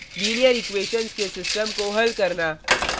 linear equations के system को हल करना